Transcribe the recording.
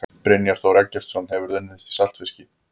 Brynjar Þór Eggertsson Hefurðu unnið í saltfiski?